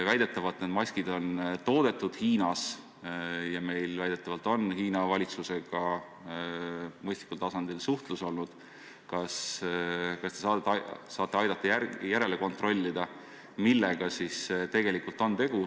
Või kui need maskid on toodetud Hiinas ja meil väidetavalt on Hiina valitsusega mõistlikul tasandil suhtlus, siis kas te saate aidata järele kontrollida, millega on tegu?